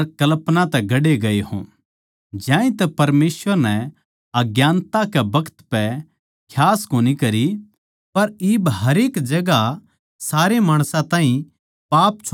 ज्यांतै परमेसवर नै अज्ञानता के बखत पै खियास कोनी करी पर इब हरेक जगहां सारे माणसां ताहीं पाप छोड़ण का हुकम देवै सै